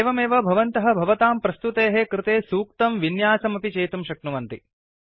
एवमेव भवन्तः भवतां प्रस्तुतेः कृते सूक्तं विन्यासमपि चेतुं शक्नुवन्ति